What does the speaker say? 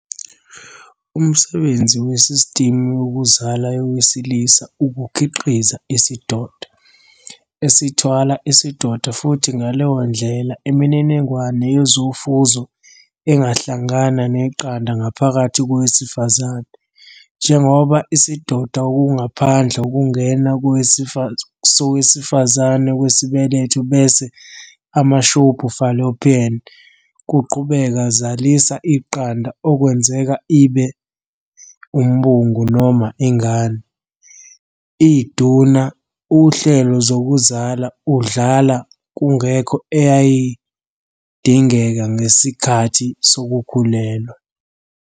Umsebenzi wesistimu yokuzala yowesilisa ukukhiqiza isidoda, esithwala isidoda futhi ngaleyo ndlela imininingwane yezofuzo engahlangana neqanda ngaphakathi kowesifazane. Njengoba isidoda okungaphandle okungena sowesifazane kwesibeletho bese amashubhu fallopian kuqhubeka zalisa iqanda okwenzeka ibe umbungu noma ingane, iduna uhlelo zokuzala udlala kungekho eyayidingeka ngesikhathi sokukhulelwa.